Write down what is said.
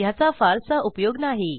ह्याचा फारसा उपयोग नाही